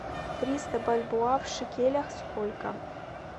триста бальбоа в шекелях сколько